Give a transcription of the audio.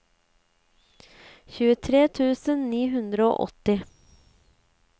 tjuetre tusen ni hundre og åtti